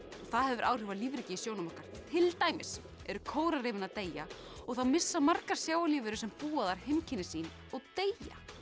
það hefur áhrif á lífríkið í sjónum okkar til dæmis eru kóralrifin að deyja og þá missa margar sjávarlífverur sem búa þar heimkynni sín og deyja